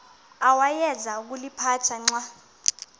awayeza kuliphatha xa